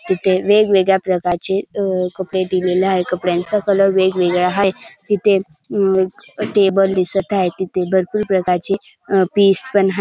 तिथे वेगवेगळ्या प्रकारचे अ कपडे दिलेले हाये कपड्याचा कलर वेगवेगळा हाये तिथे अम्म टेबल दिसत आहेत तिथे भरपूर प्रकारचे अ पीस पण हाय.